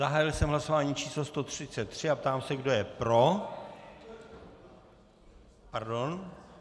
Zahájil jsem hlasování číslo 133 a ptám se, kdo je pro. Pardon.